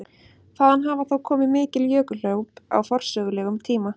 Þaðan hafa þó komið mikil jökulhlaup á forsögulegum tíma.